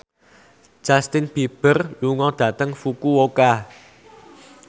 Justin Beiber lunga dhateng Fukuoka